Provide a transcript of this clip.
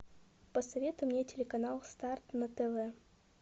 посоветуй мне телеканал старт на тв